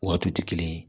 U waatiw tɛ kelen ye